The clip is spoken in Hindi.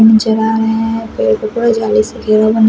मुझे खा गया है पेड़ पर पुरे--